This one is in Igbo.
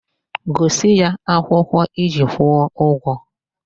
Gosi ya akwụkwọ iji kwụọ ụgwọ!